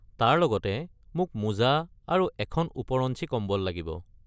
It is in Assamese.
তাৰ লগতে, মোক মোজা আৰু এখন ওপৰঞ্চি কম্বল লাগিব।